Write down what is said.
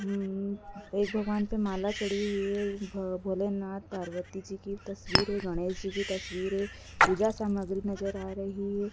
उम एक भगवान पे माला चढ़ी हुई है। भ भोलेनाथ पार्वती जी की तस्वीर है। गणेश जी की तस्वीर है। पूजा सामग्री नजर आ रही है।